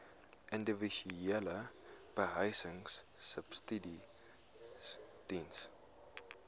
individuele behuisingsubsidies diens